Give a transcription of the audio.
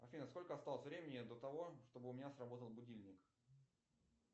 афина сколько осталось времени до того чтобы у меня сработал будильник